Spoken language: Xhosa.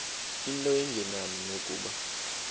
into engenani nokuba